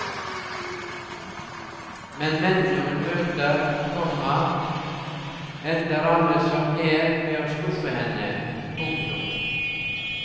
Men mennene hun møter, komma ender alle som en med å skuffe henne. punktum